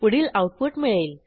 पुढील आऊटपुट मिळेल